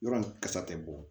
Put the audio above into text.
Yɔrɔ ni kasa tɛ bɔ